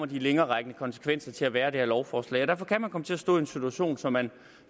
de længererækkende konsekvenser kommer til at være af det her lovforslag derfor kan man komme til at stå i en situation som man